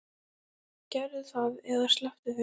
Gerðu það eða slepptu því.